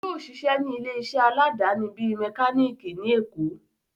Yóò sisẹ́ ní ilé iṣẹ́ aláàdáni bíi mẹkálíkì ní èkó